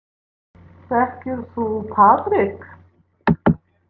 Þekkir þú Patrik?